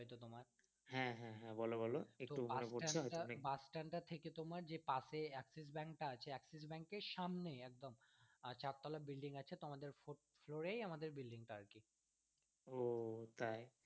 তো bus stand টা থেকে যে তোমার পাশে যে এক্সিস ব্যাঙ্ক টা আছে এক্সিস ব্যাঙ্ক এর সামনেই একদম আহ চার তলা building আছে তো আমাদের fourth floor এই আমাদের building টা আছে। ও তাই।